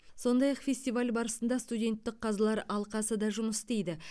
сондай ақ фестиваль барысында студенттік қазылар алқасы да жұмыс істейді